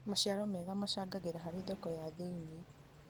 Maciaro mega macangagĩra harĩ thoko ya thĩinie.